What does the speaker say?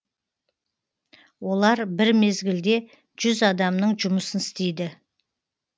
олар бір мезгілде жүз адамның жұмысын істейді